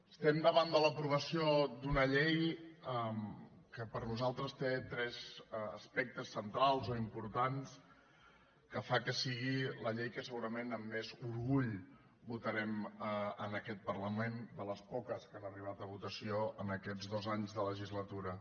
estem davant de l’aprovació d’una llei que per nosaltres té tres aspectes centrals o importants que fan que sigui la llei que segurament amb més orgull votarem en aquest parlament de les poques que han arribat a votació aquests dos anys de legislatura